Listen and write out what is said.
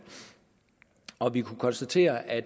og vi kunne konstatere at